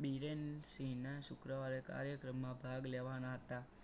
બીરેનસિંહના શુક્રવારે કાર્યક્રમમાં ભાગ લેવાના હતા.